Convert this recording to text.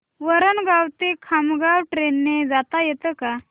वरणगाव ते खामगाव ट्रेन ने जाता येतं का